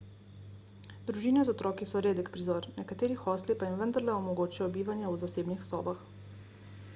družine z otroki so redek prizor nekateri hostli pa jim vendarle omogočajo bivanje v zasebnih sobah